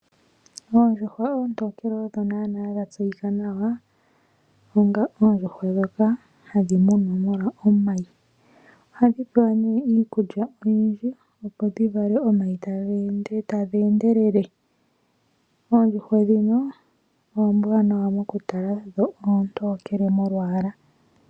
Oondjuhwa oontokele odho nana dha tseyika nawa onga oondjuhwa ndhoka hadhi munwa molwa omayi. Ohadhi pewa iikulya oyindji opo dhivale omayi tadhi endelele. Oondjuhwa ndhino ombwanwa mokutala dho oontokele molwala.